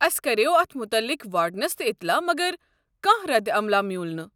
اسہِ کریوو اتھ مُتعلق وارڈنس تہِ اطلاع مگر كانہہ رد عملاہ میوٗل نہٕ۔